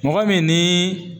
Mɔgɔ min ni